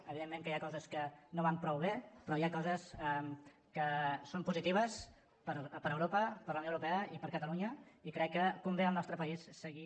evidentment que hi ha coses que no van prou bé però hi ha coses que són positives per a europa per a la unió europea i per a catalunya i crec que convé al nostre país seguir